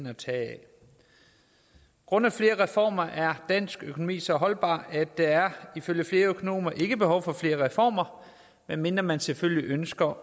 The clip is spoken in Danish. at tage af grundet flere reformer er dansk økonomi så holdbar at der ifølge flere økonomer ikke er behov for flere reformer medmindre man selvfølgelig ønsker